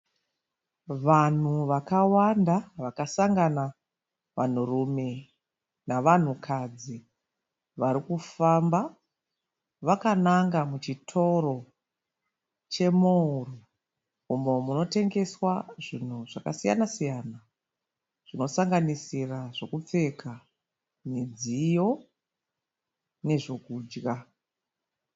Vanhu vakawanda vakasangana vanhurume navanhukadzi varikufamba vakananga muchitoro chemowuro umo munotengeswa zvinhu zvakasiyana-siyana zvinosanganisira zvokupfeka, midziyo nezvokudya.